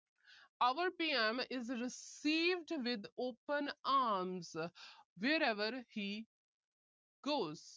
Our PM is received with open arms wherever he goes